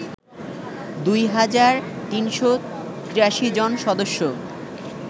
দুই হাজার ৩৮৩ জন সদস্য